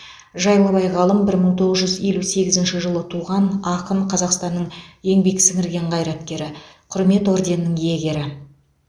жайлыбай ғалым бір мың тоғыз жүз елу сегізінші жылы туған ақын қазақстанның еңбек сіңірген қайраткері құрмет орденінің иегері